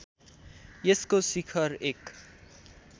यसको शिखर एक